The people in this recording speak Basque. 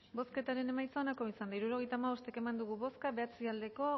hirurogeita hamabost eman dugu bozka bederatzi bai